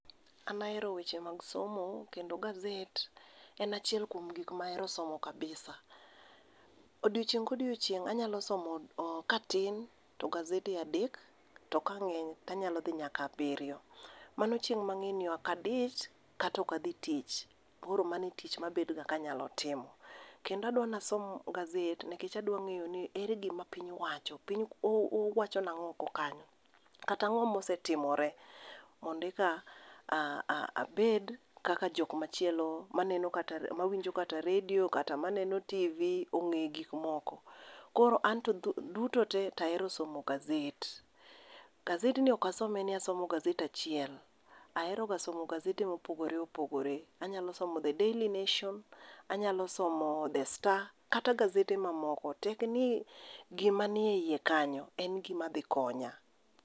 An ahero weche mag somo kendo gazet en achiel kuom gik mahero somo kabisa. Odiechieng' ka odiechieng' anyalo somo katin to gazede adek to ka ng'eny to anyalo dhi nyaka abiriyo mano chieng' mang'e ni ok adich kata ok adhi tich. Koro mano e tich mabedoga kanyalo timo. Kendo adua ni asom gazet nikech adwa ng'eyo ni ere gima piny owacho , piny owacho nang'o oko kanyo kata ang'o ma osetimore mondo eka abed kaka jok machielo maneno kata mawinjo kata redio kata maneno tv ong'e gik moko. Koro an to duto te to ahero somo gazet. Gazedni ok asome ni asomo gazet achiel, aheroga somo gazede mopogore opogore. Anyalo somo The Daily Nation, anyalo somo The Star kata gazede mamoko tek ni e gima nie iye kanyo en gima dhi konya.